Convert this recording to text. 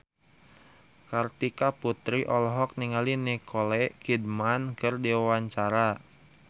Kartika Putri olohok ningali Nicole Kidman keur diwawancara